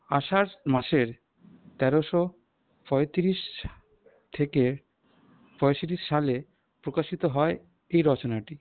আষাঢ় মাসের তেরোশো পঁয়ত্রিশ থেকে পঁয়ষট্টি সালে প্রকাশিত হয় এই রচনাটি।